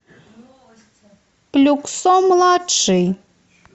люксо младший